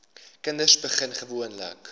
kinders begin gewoonlik